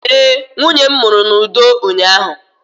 ee, nwunye m mụrụ n'udo ụnyahụ